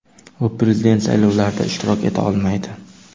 U prezident saylovlarida ishtirok eta olmaydi.